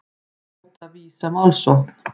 Hóta Visa málsókn